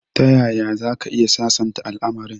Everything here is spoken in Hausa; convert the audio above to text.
Tayaya zaka iya sasanta al'amarin?